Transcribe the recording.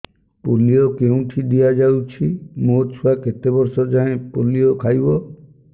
polio କେଉଁଠି ଦିଆଯାଉଛି ମୋ ଛୁଆ କେତେ ବର୍ଷ ଯାଏଁ ପୋଲିଓ ଖାଇବ